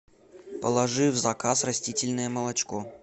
положи в заказ растительное молочко